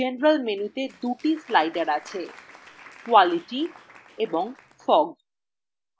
general মেনুতে দু টি sliders আছে: quality এবং fog